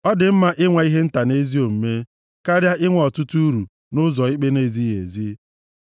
Ọ dị mma inwe ihe nta nʼezi omume karịa inwe ọtụtụ uru nʼụzọ ikpe na-ezighị ezi.